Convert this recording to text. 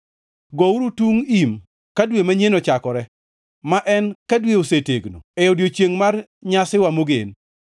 Gouru tung im ka dwe manyien ochakore, ma en ka dwe osetegno, e odiechiengʼ mar Nyasiwa mogen.